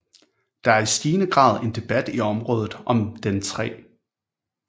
Der er i stigende grad en debat i området om Den 3